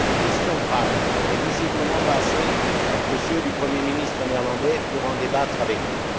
Des questions graves, mais visiblement pas assez aux yeux du premier ministre néerlandais pour en débattre avec nous.